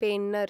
Penner